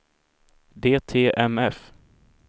DTMF